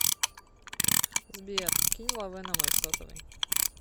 сбер кинь лавэ на мой сотовый